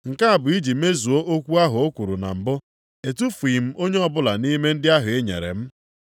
Nke a bụ iji mezuo okwu ahụ o kwuru na mbụ, “Etufughị m onye ọbụla nʼime ndị ahụ i nyere m.” + 18:9 \+xt Jọn 6:39\+xt*